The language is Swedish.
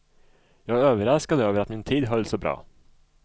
Jag är överraskad över att min tid höll så bra.